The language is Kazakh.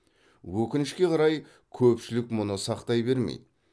өкінішке қарай көпшілік мұны сақтай бермейді